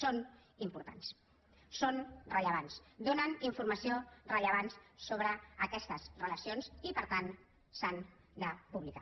són importants són rellevants donen informació rellevant sobre aquestes relacions i per tant s’han de publicar